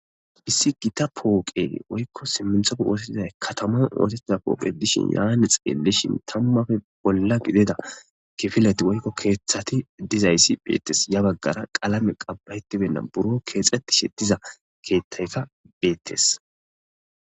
Issi githa pooqee woykko siminththope ooseththizay kathaman ooseththiza pooqe dishin naani xeellishin thammape bolla gidida kifilethi woykko keeththathi dizayssi beeththes; ya baggara qalame qabba7eththibeynna buroo keexeththishe diza keeththa7itha beeththees.